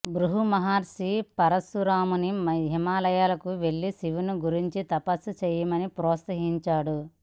భృగుమహర్షి పరశురాముని హిమాలయాలకు వెళ్లి శివుని గూర్చి తపస్సు చేయమని ప్రోత్సహించాడు